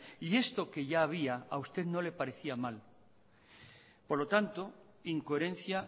y esto que ya había a usted no le parecía mal por lo tanto incoherencia